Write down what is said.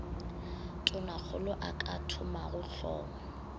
tonakgolo a ka thomago hlomo